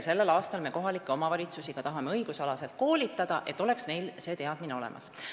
Sellel aastal me tahame ka kohalikke omavalitusi õigusalaselt koolitada, et neil oleks see teadmine olemas.